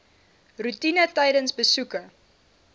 roetine tydens besoeke